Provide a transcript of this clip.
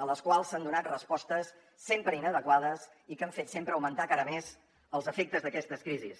a les quals s’han donat respostes sempre inadequades i que han fet sempre augmentar encara més els efectes d’aquestes crisis